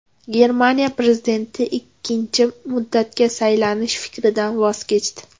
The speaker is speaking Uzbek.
Germaniya prezidenti ikkinchi muddatga saylanish fikridan voz kechdi.